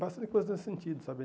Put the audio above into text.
Bastante coisa nesse sentido, sabe?